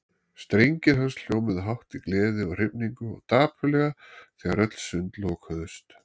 Strengir hans hljómuðu hátt í gleði og hrifningu og dapurlega þegar öll sund lokuðust.